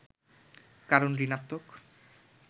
কারণ ঋণাত্নক